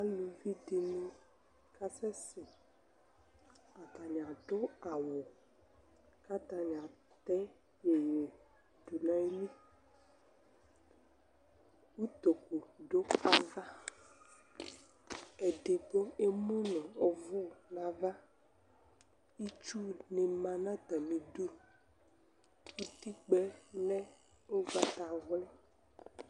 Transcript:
aluvi dɩnɩ adʊ awu kakasɛsɛ kʊ atanɩ atɛ dʊ nayili, utoku dʊ ava edigbo emu nʊ ʊvʊ nu ava, itsu nɩ ma nʊ atamidu, utikpǝ yɛ lɛ ugbata wli